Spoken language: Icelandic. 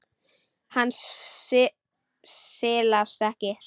Hann silast ekkert.